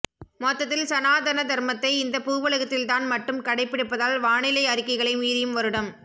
மொத்தத்தில் சனாதனதர்மத்தை இந்த பூவுலகத்தில் தான் மட்டும் கடைபிடிப்பதால் வானிலை அறிக்கைகளை மீறியும் வருடம்